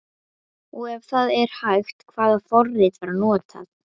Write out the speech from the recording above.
Og ef það er hægt, hvaða forrit var notað?